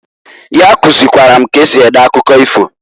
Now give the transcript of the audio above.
Ya kuzilikwara m k'esi ede akụkọ ifo.